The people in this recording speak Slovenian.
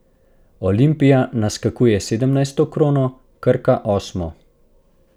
Olimpija naskakuje sedemnajsto krono, Krko osmo.